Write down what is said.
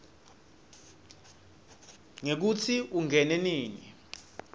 ngekutsi ungene nini